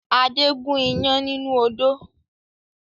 Adé gun iyán nínú odó